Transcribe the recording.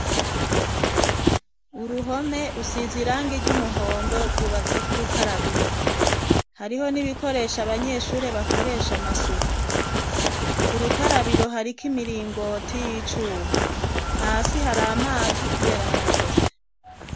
Uruhome rusize irangi ry' umuhondo, rwubatseko urukarabiro. Hariho n'ibikoresho abanyeshuri bakoresha amasuku. Ku rukarabiro hariko imiringoti y'icuma. Hasi hari amazi kubera haratose.